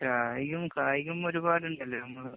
കായികം, കായികം ഒരുപാടുണ്ടല്ലോ. നമ്മള്